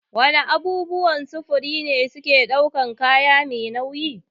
Wana abubuwan sufuri ne suke ɗaukan kaya mai nauyi?